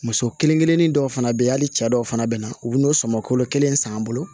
Muso kelen kelennin dɔw fana bɛ yen hali cɛ dɔw fana bɛ na u bɛ n'o sɔmɔ kolo kelen san bolo